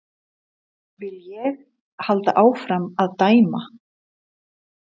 Vil ég halda áfram að dæma?